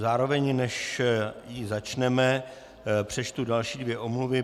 Zároveň, než ji začneme, přečtu další dvě omluvy.